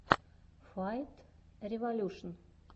файтреволюшн